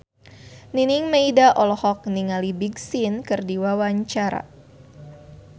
Nining Meida olohok ningali Big Sean keur diwawancara